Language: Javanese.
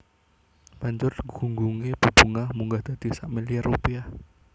Banjur gunggungé bebungah munggah dadi sak milyar rupiah